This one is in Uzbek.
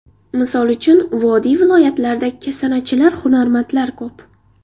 Misol uchun, vodiy viloyatlarida kasanachilar, hunarmandlar ko‘p.